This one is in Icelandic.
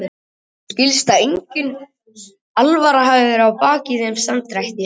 En mér skilst að engin alvara hafi verið að baki þeim samdrætti.